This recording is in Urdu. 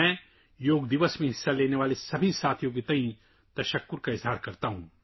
میں ان تمام دوستوں کا تہہ دل سے شکریہ ادا کرتا ہوں جنہوں نے یوگا ڈے میں حصہ لیا